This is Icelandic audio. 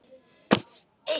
Skó og aftur skó.